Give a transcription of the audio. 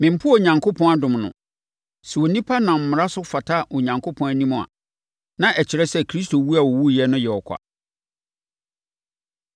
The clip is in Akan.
Mempo Onyankopɔn adom no. Sɛ onipa nam Mmara so fata Onyankopɔn anim a, na ɛkyerɛ sɛ Kristo wu a ɔwuiɛ no yɛ ɔkwa.”